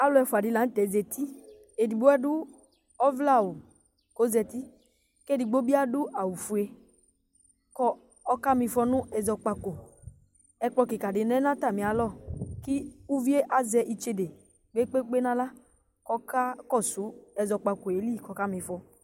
Alʊ ɛfʊa dɩ la nʊtɛ zatɩ Edɩgbo adʊ ɔvlɛ awʊ kɔzatɩ, kedɩgbo bi adʊ awʊ fʊe kɔka mɩfɔ nʊ ɛzɔkpako Ɛkplɔ kɩkz dɩvlɛ nʊbatamɩ alɔ, kʊ ʊvɩe azɛ ɩtsede gbegbe nawla kɔka kɔsʊ ɛzɔkpako lɩ kɔka mɩfɔ